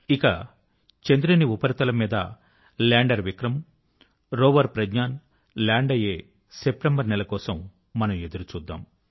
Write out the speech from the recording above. ఇక చంద్రుని ఉపరితం మీద లాండర్ విక్రమ్ మరియు రోవర్ ప్రజ్ఞాన్ లాండ్ అయ్యే సెప్టెంబర్ నెల కోసం మనం ఎదురుచూద్దాం